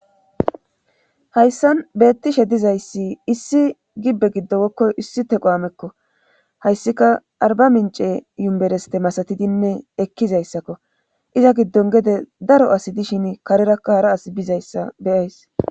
hayssan beettishe dizayssi issi gibbe giddo woykko issi tequwamekko hayssika arba mince yumbereste masatidinne ekkizayssakko iza giddon gede daro asi dishin karerakka hara asi bizayssa beyays